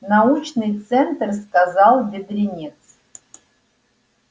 научный центр сказал бедренец